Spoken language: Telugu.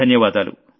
ధన్యవాదాలు